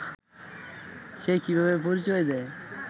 সে কিভাবে পরিচয় দেয়